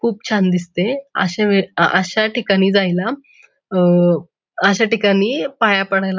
खूप छान दिसते आशा वे अश्या ठिकाणी जायला अ आशा ठिकाणी पाया पडायला--